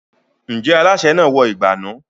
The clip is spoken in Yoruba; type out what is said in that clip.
Ǹjẹ́ alásè náà wọ ìgbànú?